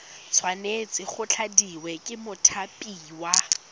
tshwanetse go tladiwa ke mothapiwa